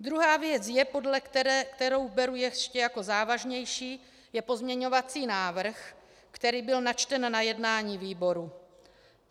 Druhá věc, kterou beru jako ještě závažnější, je pozměňovací návrh, který byl načten na jednání výboru.